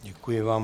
Děkuji vám.